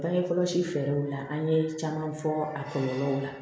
Bange kɔlɔsi fɛɛrɛw la an ye caman fɔ a kɔlɔlɔw la